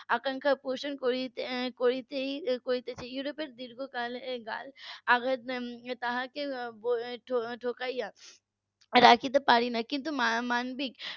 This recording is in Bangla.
আকাঙ্খা পোষণ করতে করেছে ইউরোপের দীর্ঘকাল তাকে আঘাত উম ঠুকে রাখতে পারেনি কিন্তু মানবিক